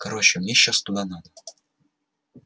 короче мне сейчас туда надо